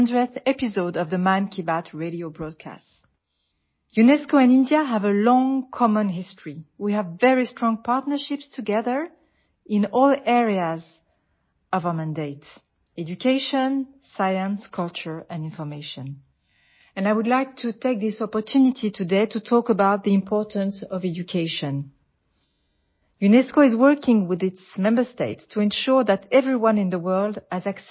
audio UNESCO director general